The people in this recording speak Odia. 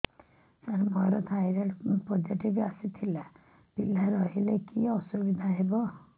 ସାର ମୋର ଥାଇରଏଡ଼ ପୋଜିଟିଭ ଆସିଥିଲା ପିଲା ରହିଲେ କି ଅସୁବିଧା ହେବ